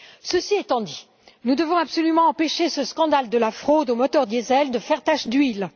Cela étant dit, nous devons absolument empêcher ce scandale de la fraude aux moteurs diésel de faire tache d'huile.